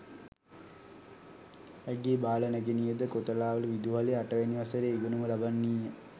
ඇගේ බාල නැගණියද කොතලාවල විදුහලේ අටවැනි වසරේ ඉගෙනුම ලබන්නීය.